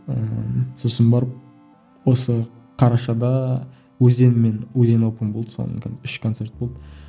ыыы сосын барып осы қарашада өзен мен болды үш концерт болды